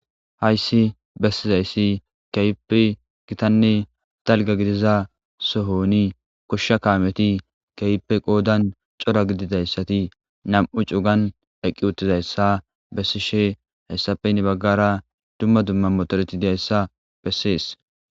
Hayissi bessizayissi kehippe gitanne daliga gidiza sooni goshsha kameti kehippa daro gidizayitti nam''u cuganni eqi uttidayi besishshe hessappe heni bagara dumma dumma motoreta besses.